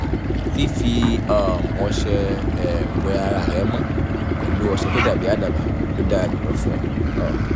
fífi um ọṣẹ um wẹ ara rẹ mọ́ pẹ̀lú ọṣẹ tó dàbí àdàbà ló dára jùlọ fún ọ um